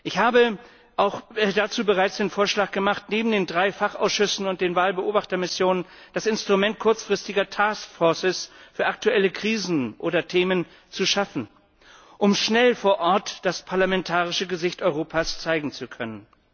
Ich habe dazu auch bereits den Vorschlag gemacht, neben den drei Fachausschüssen und den Wahlbeobachtermissionen das Instrument kurzfristiger Task Forces für aktuelle Krisen oder Themen zu schaffen, um schnell vor Ort das parlamentarische Gesicht Europas zeigen zu können.